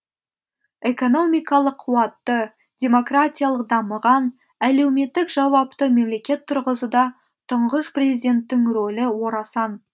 экономикалық қуатты демократиялық дамыған әлеуметтік жауапты мемлекет тұрғызуда тұңғыш президенттің рөлі орасан